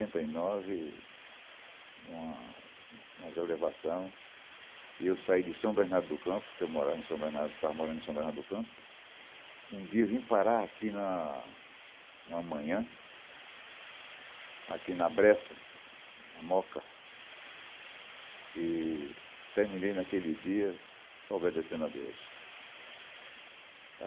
Em oitenta e nove, uma elevação, eu saí de São Bernardo do Campo, porque eu estava morando em São Bernardo do Campo, um dia vim parar aqui uma manhã, aqui na Brécia, na Moca, e terminei naquele dia obedecendo a Deus.